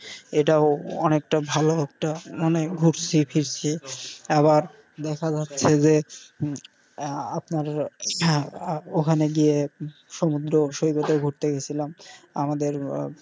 এটাও অনেকটা ভালো একটা মানে ঘুরছি ফিরছি আবার দেখা যাচ্ছে যে আহ আপনার আহ ওখানে গিয়ে সমুদ্র সৈকতে এ ঘুরতে গিয়ে ছিলাম আমাদের.